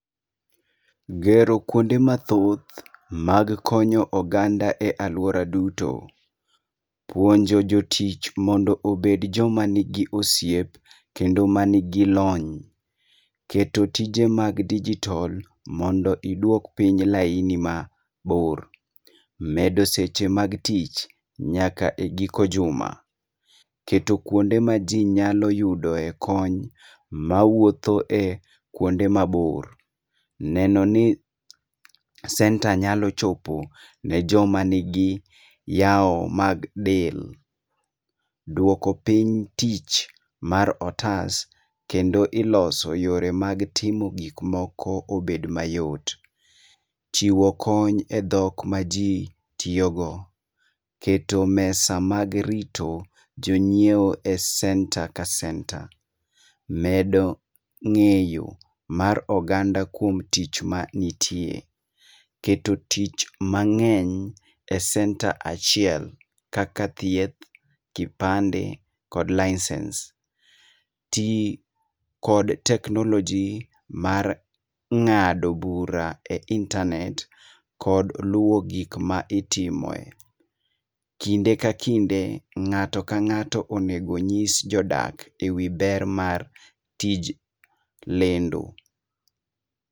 Gero kuonde ma thoth ma konyo oganda e aluora duto, puonjo jotich obed jo ma ni gi osiep kendo ma ni gi lony, keto tije mag digital mondo idwok piny laini ma bor, medo seche mag tich nyaka e giko juma. Keto kuonde ma ji nyalo yude e kony ma wuotho e kuonde ma bor neno ni center nyalo chopo ne jo ,ma ni gi yawo ma del dwoko piny tich mar otas kendo iloso yore mag timo gik moko obed mayot chiwo kony e dhok ma ji tiyi go keto mesa mag rito jo ngiewo e center ka center medo ng'eyo mar oganda kuom tich ma nitie keto tich mang'eny e center achiel kaka thieth, kipande, kod licence tiyo kod teknoloji mar ng'ado bura e intanet kod luwo gim ma itimo e .Kinde ka kinde ng'ato ka ng'ato onego ng'is jo dak e wi ber mar tij lendo.